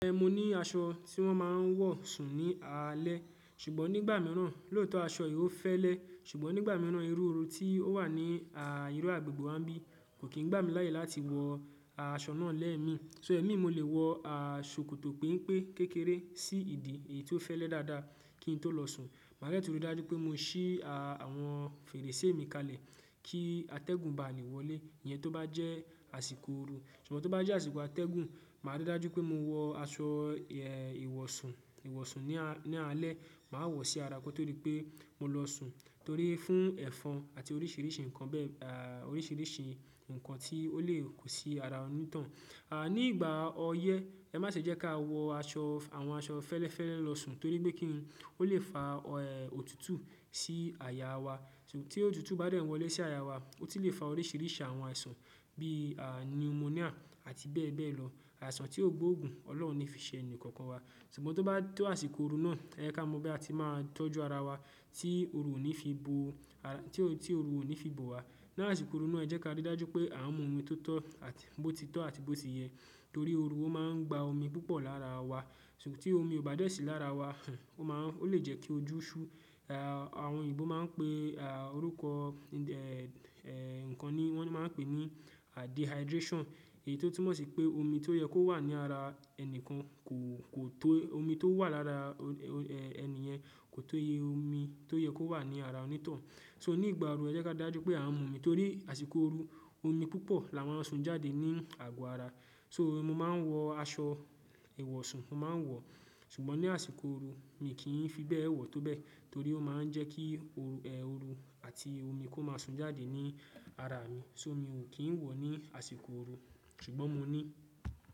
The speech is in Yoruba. Mi mo ní aṣọ tí wọ́n máa ń wọ̀ sùn ní alẹ́ ṣùgbọ́n nígbà mìíràn, lóòótọ́ aṣọ yìí ó fẹ́lẹ́ ṣùgbọ́n nígbà mìíràn irú oru tí ó wà ní irú agbègbè wa ńbí kò kí ń gbà mí láyè láti wọ aṣọ náà lee mi. So ẹ̀mí mo lè wọ kòtò penpé kékeré sí ìdí èyí tó fẹ́lẹ́ dáadáa kí n tó lọ sùn. Màá de tun rí dájú pé mo ṣí àwọn fèrèsé mi kalẹ̀ kí atẹ́gùn bá à lè wọlé, ìyẹn tó bá jẹ́ àsìkò ooru. Ṣùgbọ́n tó bá jẹ́ àsìkò atẹ́gùn, màá rí dájú pé mo wọ aṣọ ìwọ̀sùn, ìwọ̀sùn ní alẹ́. Màá wọ̀ sí ara kọ́ torí pé mo lọ sùn torí fún ẹ̀fọn àti oríṣiríṣi nǹkan bẹ́ẹ̀, à oríṣiríṣi nǹkan tí ó lè kò sí ara onítoun. À nígbà ọyẹ́, ẹ má ṣe jẹ́ ká wọ aṣọ, àwọn aṣọ fẹ́lẹ́fẹ́lẹ́ lọ sùn torí pé kí n, ó lè fa ọ è òtútù sí àyà wa. Tí òtútù bá dẹ́n wọlé sí àyà wa, ó tun lè fa oríṣiríṣi àwọn àìsàn bí à nimonia àti bẹ́ẹ̀ bẹ́ẹ̀ lọ. Àìsàn tí ó gbóògùn Ọlọ́run ní fi ṣe ẹnì kokan wa. Ṣùgbọ́n tó bá tó àsìkò ooru náà, ẹ ká mọ bí a ti máa tọ́jú ara wa tí ooru ò ní fi bo, à tí ooru ò ní fi bo wa. Ni àsìkò ooru náà jẹ́ ká rí dájú pé à ń mu omi tó tọ́ àti bó ti tọ́ àti bó ti yẹ torí ooru ó máa ń gba omi púpọ̀ lára wa. Ṣùgbọ́n tí omi ò bá dẹ̀ sí lára wa, ò máa ó lè jẹ́ kí ojú ṣú. À àwọn òyìnbó máa ń pe à orúkọ ẹ̀ ẹ̀ nǹkan ni wọ́n máa ń pè ní dehydration èyí tó túmọ̀ sí pé omi tó yẹ kó wà ní ara ẹnìkan kò kò tó omi tó wà lára ẹni yẹn kò tóye omi tó yẹ kó wà ní ara onítoun. So nígbà ooru ẹ jẹ́ ká ri dájú pé à ń mu omi torí àsìkò ooru omi púpọ̀ la máa ń sun jáde ní àgọ́ ara. So mo máa ń wọ aṣọ ìwọ̀sùn, mo máa ń wọ, ṣùgbọ́n ní àsìkò ooru mi kì í fi bẹ́ẹ̀ wọ tó bẹ́ẹ̀ torí ó máa ń jẹ́ kí òru ẹ òru àti omi kó máa sun jáde ní ara mi. So mi ò kì í wọ̀ ní àsìkò ooru ṣùgbọ́n mo ní.